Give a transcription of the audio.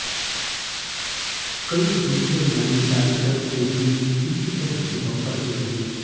कई दूसरे मैन्युफैक्चर्स ने भी इसी तरह की बंपर सेल की